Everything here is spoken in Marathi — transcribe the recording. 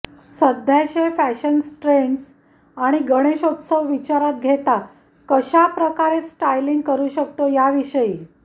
सध्याचे फॅशन ट्रेंड्स आणि गणेशोत्सव विचारात घेता कशाप्रकारे स्टायलिंग करु शकतो याविषयी